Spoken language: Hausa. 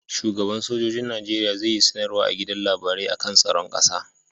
Shugan sojojin nageria zai yi sanar wa a gidan labarai akan tsaron ƙasa